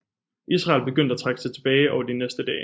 Israel begyndte at trække sig tilbage over de næste dage